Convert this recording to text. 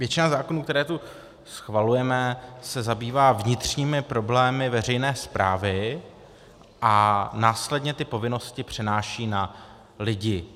Většina zákonů, které tu schvalujeme, se zabývá vnitřními problémy veřejné správy a následně ty povinnosti přenáší na lidi.